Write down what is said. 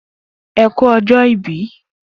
E ku ọjọ ìbí